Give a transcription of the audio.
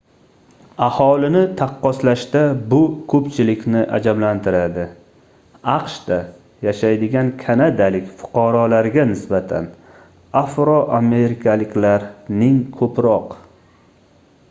aholini taqqoslashda bu koʻpchilikni ajablantiradi aqshda yashaydigan kanadalik fuqarolarga nisbatan afroamerikaliklarning koʻproq